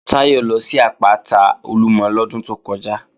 Táyọ̀ lọ sí àpáta Olúmọ lọ́dún tó kọjá